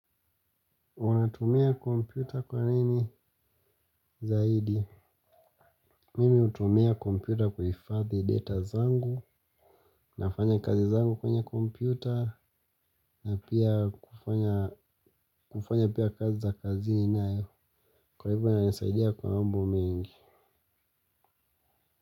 Wanatumia kompyuta kwa nini zaidi? Mimi hutumia kompyuta kuhfadhi data zangu nafanya kazi zangu kwenye kompyuta na pia kufanya pia kazi za kazi inayo kwa hivyo ina nisaidia kwa mambo mengi.